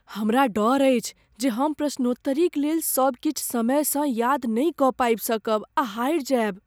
हमरा डर अछि जे हम प्रश्नोत्तरीक लेल सब किछु समयसँ याद नहि कऽ पाबि सकब आ हारि जायब।